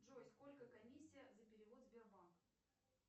джой сколько комиссия за перевод сбербанк